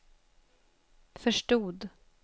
förstod